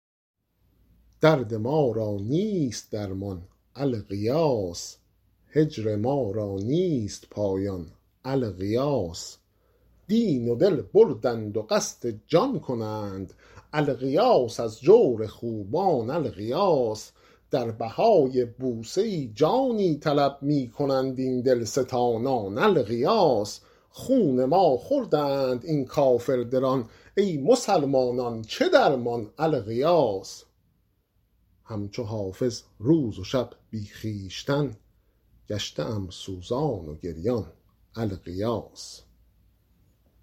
درد ما را نیست درمان الغیاث هجر ما را نیست پایان الغیاث دین و دل بردند و قصد جان کنند الغیاث از جور خوبان الغیاث در بهای بوسه ای جانی طلب می کنند این دلستانان الغیاث خون ما خوردند این کافردلان ای مسلمانان چه درمان الغیاث هم چو حافظ روز و شب بی خویشتن گشته ام سوزان و گریان الغیاث